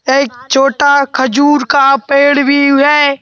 एक छोटा खजूर का पेड़ भी है।